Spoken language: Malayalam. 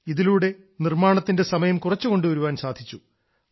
ഇതിലൂടെ നിർമ്മാണത്തിന്റെ സമയം കുറച്ചു കൊണ്ടുവരാൻ സാധിച്ചു